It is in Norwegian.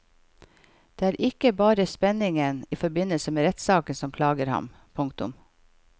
Det er ikke bare spenningen i forbindelse med rettssaken som plager ham. punktum